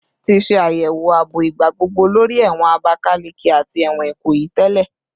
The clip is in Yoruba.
Ti ṣe ayẹwo aabo igbagbogbo lori ẹwọn Abakaleke ati ẹwọn Ikoyi tẹlẹ